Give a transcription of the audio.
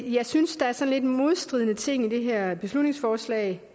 jeg synes der er sådan lidt modstridende ting i det her beslutningsforslag